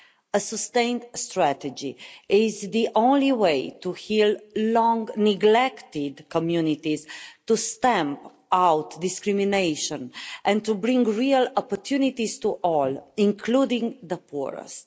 A sustained strategy is the only way to heal long-neglected communities, to stamp out discrimination and to bring real opportunities to all, including the poorest.